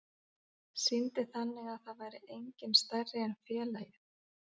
Sýndi þannig að það væri enginn stærri en félagið.